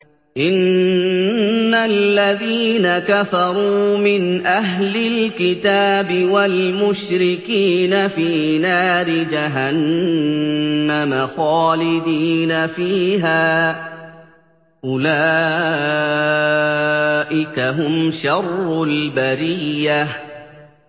إِنَّ الَّذِينَ كَفَرُوا مِنْ أَهْلِ الْكِتَابِ وَالْمُشْرِكِينَ فِي نَارِ جَهَنَّمَ خَالِدِينَ فِيهَا ۚ أُولَٰئِكَ هُمْ شَرُّ الْبَرِيَّةِ